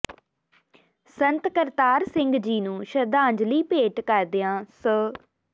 ਸੰਤ ਕਰਤਾਰ ਸਿੰਘ ਜੀ ਨੂੰ ਸ਼ਰਧਾਂਜਲੀ ਭੇਂਟ ਕਰਦਿਆਂ ਸ